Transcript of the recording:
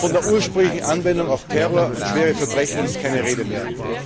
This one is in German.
Von der ursprünglichen Anwendung gegen Terror und schwere Verbrechen ist keine Rede mehr.